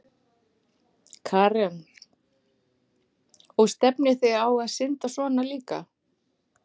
Karen: Og stefnið þið á að synda svona líka?